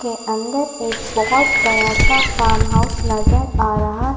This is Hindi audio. के अन्दर एक बहुत बड़ा सा फार्महाउस नज़र आ रहा।